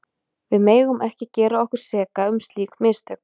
Við megum ekki gera okkur seka um slík mistök.